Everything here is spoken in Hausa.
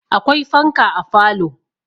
Akwai fanka a falo.